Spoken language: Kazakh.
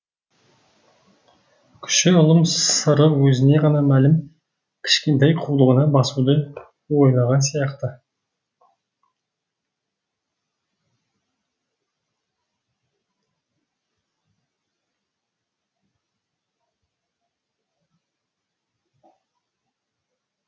кіші ұлым сыры өзіне ғана мәлім кішкентай қулығына басуды ойлаған сияқты